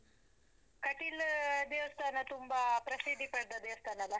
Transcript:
ಕಟೀಲ್ ದೇವಸ್ಥಾನ ತುಂಬಾ ಪ್ರಸಿದ್ಧಿ ಪಡೆದ ದೇವಸ್ಥಾನ ಅಲ್ಲಾ.